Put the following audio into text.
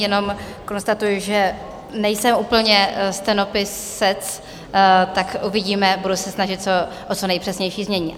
Jenom konstatuji, že nejsem úplně stenopisec, tak uvidíme, budu se snažit o co nejpřesnější znění.